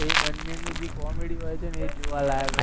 એ બંનેનું જે comedy હોય છે ને એ જોવાલાયક હોય છે